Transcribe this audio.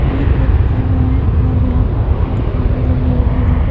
ये एक जगह है और यहाँ पे कुछ दुकाने लगी हुई हैं यहाँ पे --